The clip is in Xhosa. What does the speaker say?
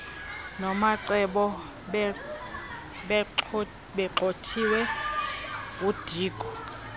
nomacebo begxothiwe ngudiko